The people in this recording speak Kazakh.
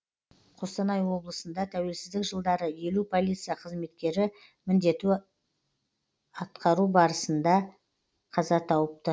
қостанай облысында тәуелсіздік жылдары елу полиция қызметкері міндетін атқару барысында қаза тауыпты